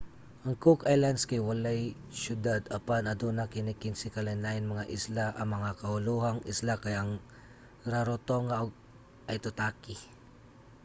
ang cook islands kay walay syudad apan aduna kini 15 ka lain-laing mga isla. ang mga kaulohang isla kay ang rarotonga ug aitutaki